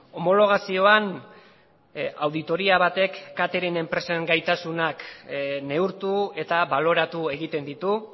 homologazioan auditoria batek catering enpresen gaitasuna neurtu eta baloratu egiten ditu